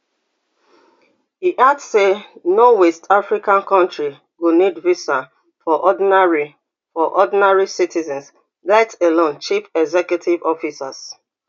e add say no west african country go need visa for ordinary for ordinary citizens let alone chief executive officers